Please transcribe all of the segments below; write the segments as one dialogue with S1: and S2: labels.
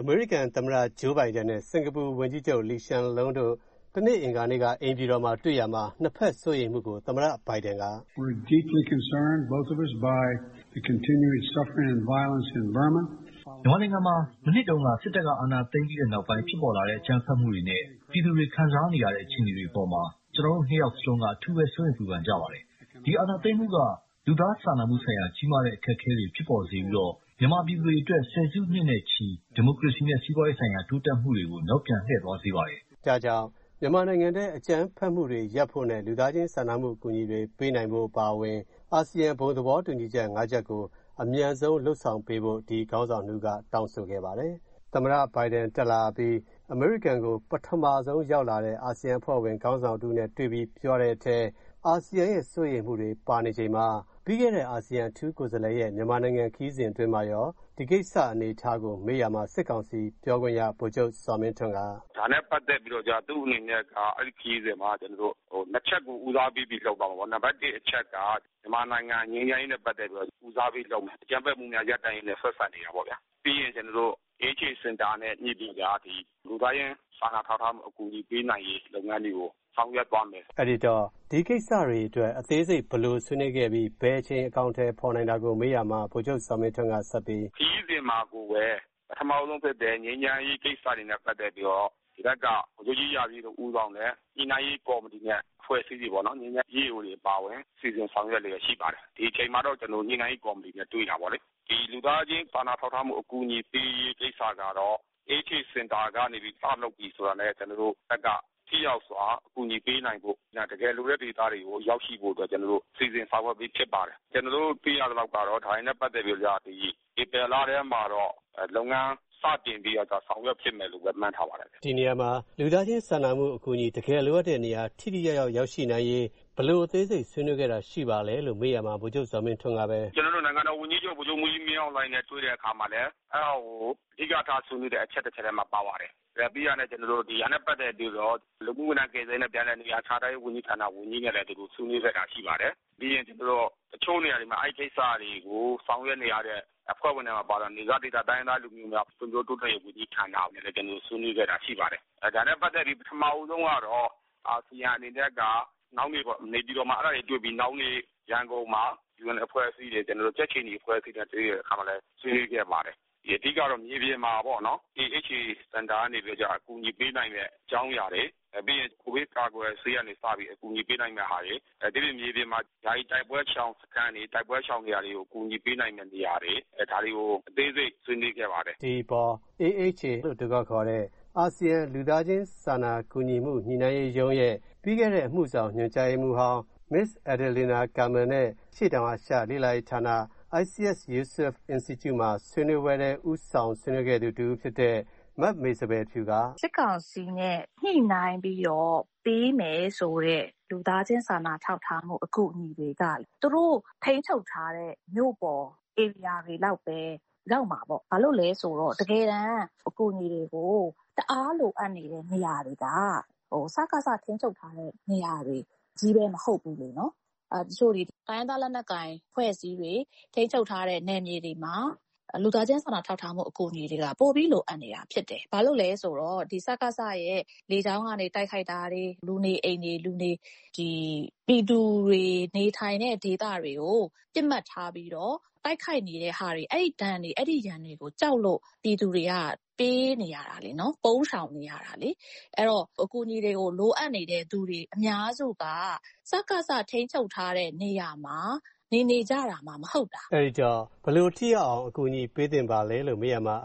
S1: အမေရိကန်သမ္မတ ဂျိုးဘိုင်ဒန် နဲ့ စင်္ကာပူဝန်ကြီးချုပ် လီရှန်လွန်း တို့ အိမ်ဖြူတော်တွေ့ရာမှာ နှစ်ဖက်စိုးရိမ်မှုကို သမ္မတ ဘိုင်ဒန် က မြန်မာနိုင်ငံမှာ မနှစ်တုံးက စစ်တပ်က အာဏာသိမ်းပြီးနောက်ပိုင်း အကြမ်းဖက်မှုတွေနဲ့ ပြည်သူတွေခံစားနေရတဲ့ အခြေအနေတွေကို ကျနော်တို့ ၂ ယောက်စလုံးက အထူးပဲ စိုးရိမ်ပူပန်နေကြရပါတယ်။ ဒီအာဏာသိမ်းမှုက လူသားစာနာမှုဆိုင်ရာ ကြီးမားတဲ့အခက်အခဲတွေဖြစ်ပေါ်စေပြီးတော့ မြန်မာပြည်သူတွေအတွက် ဆယ်စုနှစ်နဲ့ ချီ ဒီမိုကရေစီ နဲ့ စီးပွားရေးဆိုင်ရာ တိုးတက်မှုတွေကို နောက်ပြန်လှည့်သွားစေပါတယ်။ ဒါကြောင့် မြန်မာနိုင်ငံအတွင်း အကြမ်းဖက်မှုတွေရပ်တန့်ဖို့နဲ့ လူသားချင်းစာနာမှုဆိုင်ရာ အကူအညီတွေပေးနိုင်မှုအပါအဝင် အာဆီယံဘုံသဘောတူညီချက် ၅ ချက်ကို အမြန်ဆုံး လုပ်ဆောင်ပေးဖို့ ဒီခေါင်းဆောင် ၂ ဦး က တောင်းဆိုခဲ့ကြပါတယ်။ သမ္မတဘိုင်ဒန် တက်လာပြီး အမေရိကန်ကို ပထမဆုံး ရောက်လာတဲ့ အာဆီယံအဖွဲ့ဝင်ခေါင်းဆောင်တဦး ရောက်လာပြီး ပြောဆိုချိန်မှာ အာဆီယံရဲ့ စိုးရိမ်မှုတွေပါနေချိန်မှာ ပြီးခဲ့တဲ့ အာဆီယံအထူးကိုယ်စားလှယ်ရဲ့ မြန်မာနိုင်ငံခရီးစဉ်မှာ ဒီကိစ္စအနေအထားမေးရာမှာ စစ်ကောင်စီပြောခွင့်ရ ဗိုလ်ချုပ်ဇော်မင်းထွန်း က ဗ
S2: ိုလ်ချုပ်ဇော်မင်းထွန်း ။. ။ ဒါနဲ့ပတ်သက်ပြီးတော့ သူအနေနဲ့ ၂ ချက်ကို ဦးစားပေးပြီးတော့မှ နံပတ် ၁ မြန်မာနိုင်ငံ ငြိမ်းချမ်းရေးနဲ့ ပတ်သက်ပြီးတော့မှ ဦးစားပေလုပ်မယ်။ အကြမ်းဖက်မှုများရပ်ဆိုင်းရေးပေါ့ဗျာ။ ပြီးရင် လူသားချင်းစာနာ ထောက်ထားမှုများကို ဆောင်ရွက်သွားမယ်။
S1: ကိုဝင်းမင်း ။. ။ အဲဒီတော့ ဒီကိစ္စတွေအတွက် အသေးစိတ် ဘယ်လိုဆွေးနွေးသွားပြီး ဘယ်အချိန် အကောင်အထည်ဖော်မလဲ မေးရာမှာ ဗိုလ်ချုပ်ဇော်မင်းထွန်း က ဗိုလ်ချုပ်ဇော်မင်းထွန်း
S2: ။. ။ ဒီခရီးစဉ်မှာကိုပဲ ပထမဦးဆုံး ငြိမ်းချမ်းရေး ပထမဆုံးဖြစ်တဲ့ ငြိမ်းချမ်းရေးခရီးစဉ်တွေနဲ့ ပတ်သက်ပြီး ငြိမ်းချမ်းရေးကော်မတီတွေဖွဲ့စည်းပြီး EAO တွေအပါအဝင် ညှိနှိုင်းပေးနေပါတယ်။ ဒီအချိန်မှာတော့ ညှိနှိုင်းရေးကော်မတီကြေညာပါလိမ့်မယ်။ လူသားချင်းစာနာထောက်ထားမှုအကူအညီပေးရေး စလုပ်ပြီဆိုတာနဲ့ ကျနော်တို့ဖက်က ထိရောက်စွာ အကူအညီပေးနိုင်ဖို့ ၊ တကယ်လိုတဲ့ဒေသတွေကို ရောက်ရှိဖို့ စီစဉ်ဆောင်ရွက်ပြီးဖြစ်ပါတယ်။ ကျနော်တို့သိရသလောက်ကတော့ ဒါတွေနဲ့ ပတ်သက်ပြီးတော့ ဧပြီလထဲမှာတော့ လုပ်ငန်းစတင်ပြီး ဆောင်ရွက်မယ်လို့ မှန်းထားပါတယ်။
S1: ကိုဝင်းမင်း ။. ။ ဒီနေရာမှာ လူသားချင်းစာနာမှုဆိုင်ရာ အကူအညီ တကယ်လိုအပ်တဲ့နေရာ ထိထိရောက်ရောက် ရောက်ရှိနိုင်ရေး ဘယ်လိုအသေးစိတ်အစီအစဉ်ရှိပါလဲမေးရာမှာ ဗိုလ်ချုပ်ဇော်မင်းထွန်း ။. ။ ကျ
S2: နော်တို့ နိုင်ငံတော်ဝန်ကြီးချုပ် ဗိုလ်ချုပ်မှူးကြီး မင်းအောင်လှိုင် နဲ့ တွေ့တဲ့အခါမှာလည်း အဓိကထားဆွေးနွေးတဲ့အချက်တချက်ထဲမှာပါဝင်ပါတယ်။ လူမှုဝန်ထမ်းကယ်ဆယ်ရေးဝန်ကြီးနဲ့ ဆွေးနွေးတာလည်းရှိပါတယ်။ တချို့နေရာမှာ အဲဒီကိစ္စမှာပါဝင်တဲ့ နယ်စပ်ဒေသ ဖွံ့ဖြိုးတိုးတက်ရေးဝန်ကြီးဌာန နဲ့ဆွေးနွေးတာလည်းရှိပါတယ်။ ဒါနဲ့ပတ်သက်ပြီး ပထမဆုံးကတော့ အာဆီယံအနေနဲ့ကတော့ နောက်နေ့ နေပြည်တော်မှာ အဲဒါတွေတွေ့ပြီး ရန်ကုန်မှာ ကြက်ခြေနီအဖွဲ့တွေနဲ့ တွေ့ရာမှာ ဆွေးနွေးခဲ့ပါတယ်။ အဓိကကတော့ အကူအညီပေးနိုင်တဲ့ အကြောင်အရာတွေ ပြီးရင် ကိုဗစ်ကာကွယ်ဆေးကနေ အကူအညီပေးနိုင်တဲ့အရာတွေ ဒီပြင်ယာယီတိုက်ပွဲရှောင်စခန်းတွေကို အကူအညီပေးနိုင်တဲ့နေရာတွေ ဒါတွေကို အသေးစိတ်ဆွေးနွေးခဲ့ပါတယ်။
S1: ကိုဝင်းမင်း ။. ။ ဒီအပေါ် AHA လို ခေါ်တဲ့ အာဆီယံ လူသားချင်း စာနာမှု ဆိုင်ရာရုံးရဲ့ပြီးခဲ့တဲ့ အမှုဆောင် မစ္စ အယ်ဒလင်ဒါကာမင် နဲ့ အရှေ့တောင်အာရှလေ့လာရေးဌာန အိုက်စီယက် ယူဆွတ် အင်စတီကျု့မှာ ဦးဆောင်ဆွေးနွေးခဲ့တဲ့ မမေစပယ်ဖြူ က မမေစပယ်ဖြူ ။. ။
S3: စစ်ကောင်စီနဲ့ ညှိနှိုင်းပြီး ပေးမယ်ဆိုတဲ့ လူသားချင်းစာနာထောက်ထားမှု အကူအညီတွေက သူတိုပ ထိန်းချုပ်ထားတဲ့ မြို့ပေါ်ဒေသတွေလောက်ပဲ ရောက်မှာပေါ့။ တကယ်တန်းအကူအညီတွေကို လိုအပ်နေတဲ့နေရာတွေက စစ်ကောင်စီထိန်းချုပ်ထားတဲ့နေရာတွေချည်ပဲမဟုတ်ဘူး။ တိုင်းရင်းသားလက်နက်ကိုင်အဖွဲ့တွေ ထိန်းချုပ်ထားတဲ့ နယ်မြေတွေမှာ လူသားချင်းစာနာထောက်ထားမှုအကူအညီတွေ ပိုပြီလိုအပ်နေတာဖြစ်တယ်။ စစ်ကောင်စီ ရဲ့ လေကြောင်းရန်ကို ကြောက်လို့ ပြည်သူတွေက ပုန်းနေ ပြေးနေရတာလေ၊ အဲတော့ အကူအညီတွေကို လူအပ်နေကြသူတွေ အများစုက စစ်ကောင်စီ ထိန်းချုပ်ထားတဲ့နေရာတွေမှာ နေနေကြတာမှမဟုတ်တာ
S1: ။ ကိုဝင်းမင်း ။. ။ အဲဒီတော့ ဘယ်လိုထိရောက်အောင် အကူအညီတွေကို ပေးသင်လဲမေးရာမှာ မ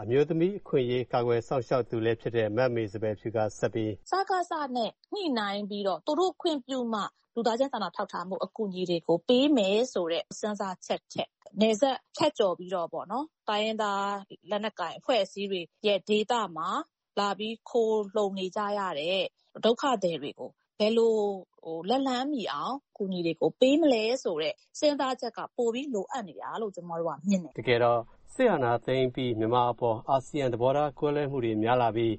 S1: မေစပယ်ဖြူ ။. ။ စစ်
S3: ကောင်စီ နဲ့ ညှိနှိုင်ပြီးမှ လူသားချင်းစာနာမှုအကူအညီတွေပေးမယ်ဆိုတဲ့ စဉ်းစားချက်ထက် နယ်စပ်ဖြတ်ကျော်ပြီးတော့ တိုင်းရင်းသားလက်နက်ကိုင်အဖွဲ့အစည်းတွေရဲ့ ဒေသမှာလာပြီး ခိုလှုံနေကြရတဲ့ ဒုက္ခသည်တွေကို ဘယ်လိုပေးမလဲဆိုတဲ့ စဉ်းစာချက်က ပိုပြီလိုအပ်တယ်လို့မြင်ပါတယ်။ ကိုဝင်းမင်
S1: း ။. ။ တကယ်တော့ စစ်အာဏာသိမ်းအပြီး အာဆီယံအပေါ် သဘောထားကွဲလွဲမှုတွေများလာပြီး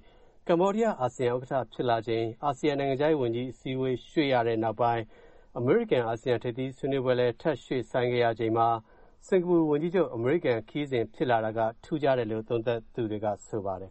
S1: ကမ္ဘောဒီယားအာဆီယံ ဥက္ကဌဖြစ်ပြီး အာဆီယံ နိုင်ငံခြားရေးဝန်ကြီးအစည်းအဝေး ရွှေ့ရတဲ့နောက်ပိုင်း အမေရိကန် အာဆီယံဆွေးနွေးပွဲလည်း ထပ်ရွှေ့ဆိုင်းရချိန်မှာ စင်္ကာပူဝန်ကြီးချုပ် အမေရိကန်ခရီးစဉ်ဖြစ်လာတာက ထူးခြားတယ်လို့ လေ့လာသုံးသူတွေက ဆိုကြပါတယ်